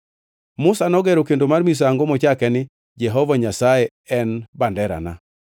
Musa nogero kendo mar misango mochake ni “Jehova Nyasaye en banderana.”